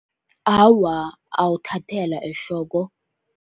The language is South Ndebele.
Awa, awuthathelwa ehloko.